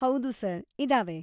ಹೌದು ಸರ್, ಇದಾವೆ.